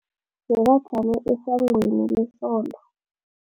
Bekajame esangweni lesonto.